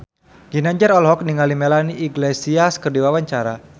Ginanjar olohok ningali Melanie Iglesias keur diwawancara